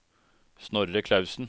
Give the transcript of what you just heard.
Snorre Clausen